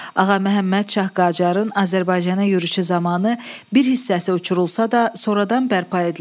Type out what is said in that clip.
Ağaməhəmməd Şah Qacarın Azərbaycana yürüşü zamanı bir hissəsi uçurulsa da, sonradan bərpa edilib.